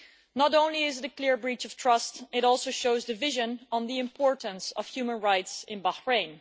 Not only is it a clear breach of trust, it also shows division on the importance of human rights in Bahrain.